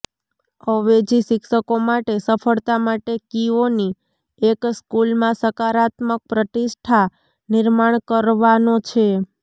અવેજી શિક્ષકો માટે સફળતા માટે કીઓની એક સ્કૂલમાં સકારાત્મક પ્રતિષ્ઠા નિર્માણ કરવાનો છે